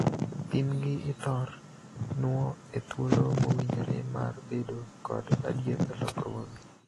Pimgi ithor nuo e thuolo mowinjore mar bedo kod adier e lokruoge.